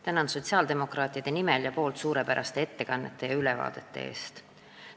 Tänan sotsiaaldemokraatide nimel suurepäraste ettekannete ja ülevaadete eest!